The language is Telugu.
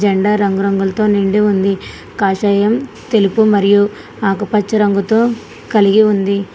జెండా రంగు రంగులతో నిండి ఉంది కాషాయం తెలుపు మరియు ఆకుపచ్చ రంగుతో కలిగి ఉంది.